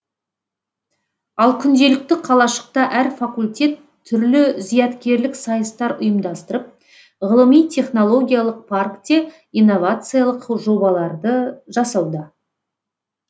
ал күнделікті қалашықта әр факультет түрлі зияткерлік сайыстар ұйымдастырып ғылыми технологиялық паркте инновациялық жобаларды жасауда